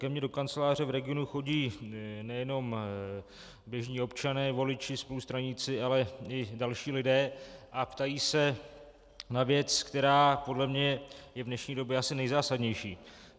Ke mně do kanceláře v regionu chodí nejenom běžní občané, voliči, spolustraníci, ale i další lidé a ptají se na věc, která podle mě je v dnešní době asi nejzásadnější.